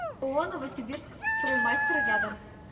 ооо новосибирск строймастер рядом